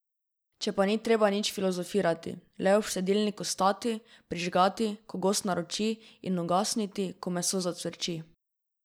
Če pa ni treba nič filozofirati, le ob štedilniku stati, prižgati, ko gost naroči, in ugasniti, ko meso zacvrči.